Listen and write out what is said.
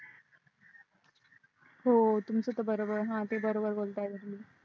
हो तुमच तर बरोबर आहे हा ते बरोबर बोलताय तुम्ही